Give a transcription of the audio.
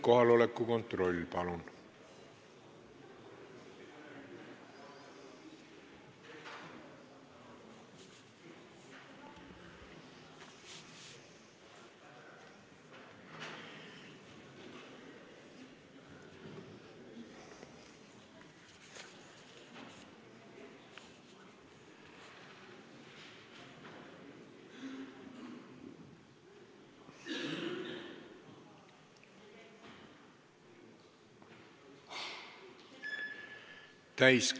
Kohaloleku kontroll, palun!